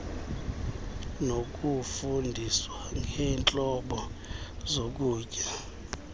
nokufundiswa ngeentlobo zokutya